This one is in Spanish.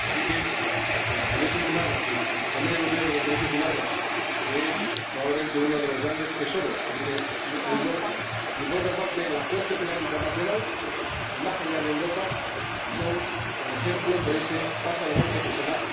Así es que el Convenio Europeo de Derechos Humanos, que es probablemente uno de los grandes tesoros que tiene Europa y, por otra parte, la Corte Penal Internacional, más allá de Europa, son el ejemplo de ese paso adelante que se da